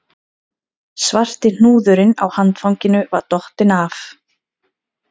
Svarti hnúðurinn á handfanginu var dottinn af